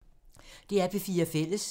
DR P4 Fælles